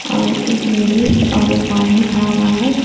और एक लेडीज और एक आदमी खड़ा हुआ है।